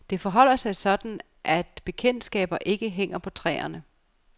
Det forholder sig sådan, at bekendtskaber ikke hænger på træerne.